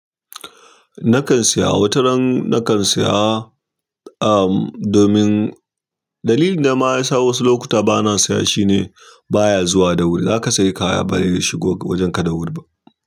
Nakan siya, wataran nakan siya, am domin, dalilin dama yasa wasu lokutan bana siya shine baya zuwa da wuri. Zaka sayi kaya ba dai shigo wajenka da wuri ba.